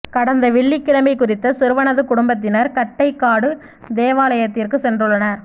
கடந்த வெள்ளிக்கிழமை குறித்த சிறுவனது குடும்பத்தினர் கட்டைக்காடு தேவாலயத்திற்கு சென்றுள்ளனர்